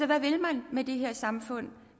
hvad vil man med det her samfund